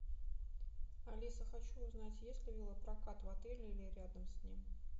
алиса хочу узнать есть ли велопрокат в отеле или рядом с ним